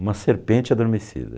Uma serpente adormecida.